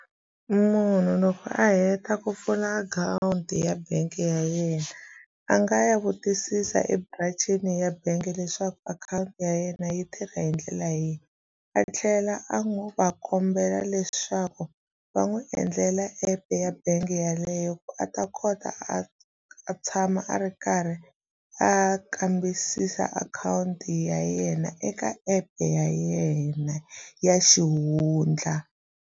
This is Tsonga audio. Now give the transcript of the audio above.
Munhu loko a heta ku pfula akhawunti ya bangi ya yena a nga ya vutisisa eburancini ya bangi leswaku akhawunti ya yena yi tirha hi ndlela leyi a tlhela a va kombela leswaku va n'wi endlela app ya bangi yeleyo ku a ta kota a a tshama a ri karhi a kambisisa akhawunti ya yena eka app ya yena ya xihundla.